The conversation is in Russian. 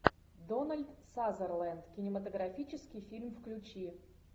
дональд сазерленд кинематографический фильм включи